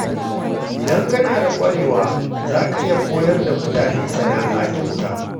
Idan kana da ƙwarewa, zaka iya koyar da mutane sana’a kyauta.